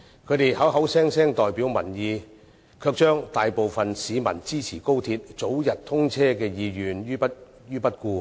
他們口口聲聲代表民意，卻置大部分市民支持高鐵早日通車的意願於不顧。